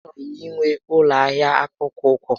A chọrọ m inwe ụlọ ahịa akpụkpọ ụkwụ